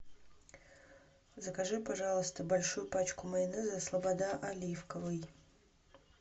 закажи пожалуйста большую пачку майонеза слобода оливковый